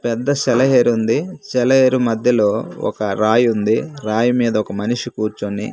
పెద్ద సెలయేరు ఉంది సెలయేరు మధ్యలో ఒక రాయుంది రాయిమీద ఒక మనిషి కూర్చొని--